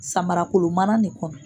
Samarakolo mana ne kɔnɔ.